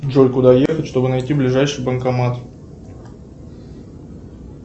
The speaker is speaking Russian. джой куда ехать чтобы найти ближайший банкомат